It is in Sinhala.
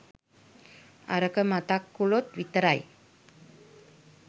අරක මතක් කලොත් විතරක්